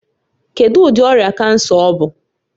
Kedu ụdị ọrịa kansa ọ bụ?